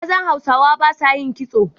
Mazan Hausawa ba sa yin kitso.